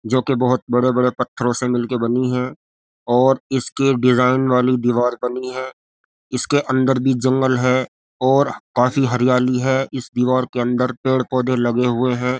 जो के बहोत पत्थरों से मिल के बनी है और इसके डिजाईन वाली दिवार बनी है। इसके अन्दर भी जंगल है और बाहर काफी हरियाली है। इस दीवार के अन्दर पेड़ पौधे लगे हुए हैं।